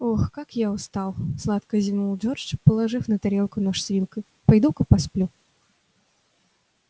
ох как я устал сладко зевнул джордж положив на тарелку нож с вилкой пойду-ка посплю